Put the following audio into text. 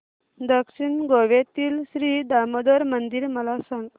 दक्षिण गोव्यातील श्री दामोदर मंदिर मला सांग